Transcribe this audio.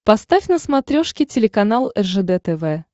поставь на смотрешке телеканал ржд тв